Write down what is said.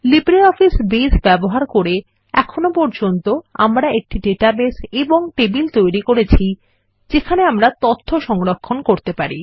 LibreOffice Base ব্যবহার করে এখন পর্যন্ত আমরা একটি ডেটাবেস তৈরি ও টেবিল তৈরি করেছি যেখানে আমরা তথ্য সংরক্ষণ করতে পারি